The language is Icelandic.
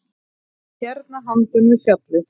Hérna handan við fjallið.